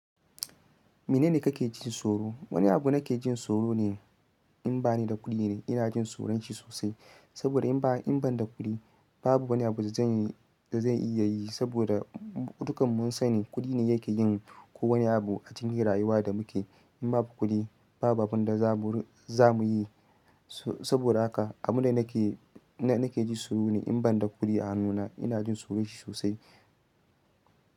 Mene ne ka ke ji tsoro? Wani abu da na ke jin tsoro ne in ba ni da kuɗi ne. Ina jin tsoron shi sosai. Saboda in ba, in ban da kuɗi, babu wani abu da zan yi da zan iya yi. Saboda dukkan mun sani kuɗi ne yake yin kowane abu a cikin rayuwa da muke. In babu kuɗi, babu abin da za mu, za mu yi. Saboda haka abu ne da nake, na ke ji tsoro ne in ban da kuɗi a hannuna. Ina jin tsoron shi sosai.